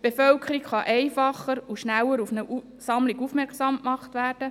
Die Bevölkerung kann viel einfacher und schneller auf eine Sammlung aufmerksam gemacht werden;